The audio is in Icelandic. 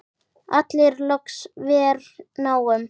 allir loks vér náum.